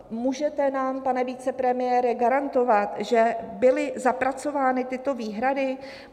Můžete nám, pane vicepremiére, garantovat, že byly zapracovány tyto výhrady?